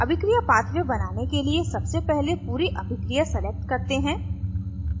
अभिक्रिया pathway बनाने के लिए सबसे पहले पूरी अभिक्रिया select करते हैं